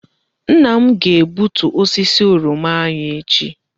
Nna m ga-egbutu osisi oroma anyị echi.